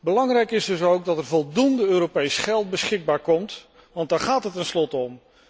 Belangrijk is dus ook dat er voldoende Europees geld beschikbaar komt, want daar gaat het tenslotte om.